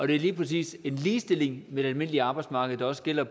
det er lige præcis en ligestilling med det almindelige arbejdsmarked der også gælder